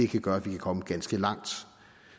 kan gøre at vi kan komme ganske langt